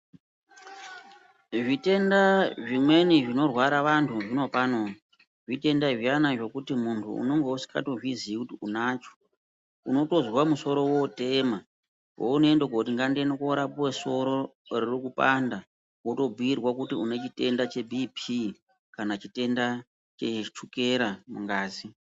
Zvitenda zvimweni zvinorwara vantu zvinopano zvitenda zviyana zvekuti muntu unonga usingatombozviziyi kuti unacho, unotozwa musoro wotema. Peunoenda kuti ngandinorapwe soro ririkupanda unondobhuyirwa kuti unechitenda chebhiipii, kana chitenda chechukela mungazi.